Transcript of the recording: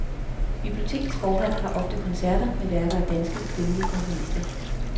Bibliotekets forhal har ofte koncerter med værker af danske, kvindelige komponister.